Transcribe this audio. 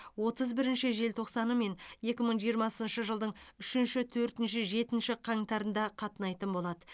отыз бірінші желтоқсаны мен екі мың жиырмасыншы жылдың үшінші төртінші жетінші қаңтарында қатынайтын болады